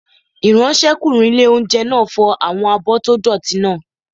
Ìráńṣẹ́kùnrin ilé-oúnjẹ náà fọ àwọn abọ́ tó dọ̀ọ̀tí náà